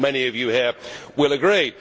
I am sure many of you here will agree.